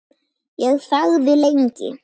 Ég þagði lengi.